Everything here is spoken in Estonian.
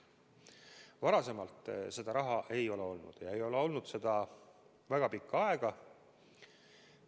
Varem seda raha ei ole olnud, ja ei ole olnud väga pikka aega.